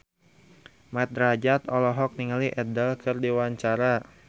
Mat Drajat olohok ningali Adele keur diwawancara